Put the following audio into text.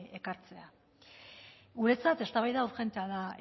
ekartzea guretzat eztabaida urgentea da